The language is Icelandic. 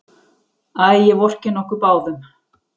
Æ, ég vorkenni okkur báðum.